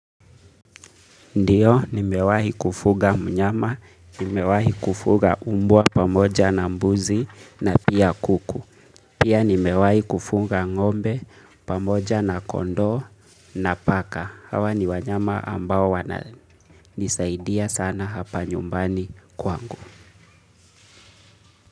Ndiyo, nimewahi kufuga mnyama, nimewahi kufuga umbwa pamoja na mbuzi na pia kuku. Pia nimewahi kufuga ngombe pamoja na kondoo na paka. Hawa ni wanyama ambao wananisaidia sana hapa nyumbani kwangu.